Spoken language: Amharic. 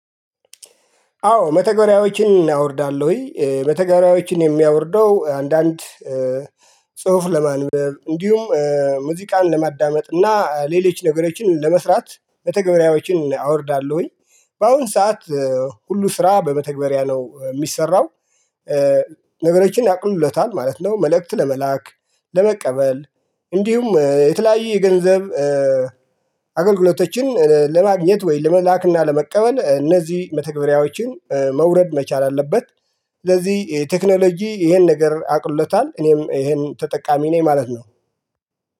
አዎ መተገሪያዎችን አወርዳለሁኝ መተገሪያዎችን የማወርደው አንዳንድ ጽሁፍ ለማንበብ እንዲሁም ሙዚቃን ለማዳመጥ እና ሌሎች ነገሮችን ለመስራት መተገበሪያዎችን አወርዳለሁኝ። በአሁን ሰዓት ሁሉ ስራ በመተግበሪያ ነውየሚሰራው። ነገሮችን ያቅሉለታል ማለት ነው። መልእክት ለመላክ ለመቀበል እንዲሁም የተለያየ የገንዘብ አገልግሎቶችን ለማግኘት ወይ ለመላክና ለመቀበል እነዚህ መተግበሪያዎችን መውረድ መቻል አለበት። ስለዚህ ቴክኖሎጂ ይሄን ነገር አቅልሎታል እኔም ይሄን ተጠቃሚ ነኝ ማለት ነው